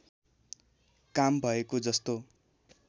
काम भएको जस्तो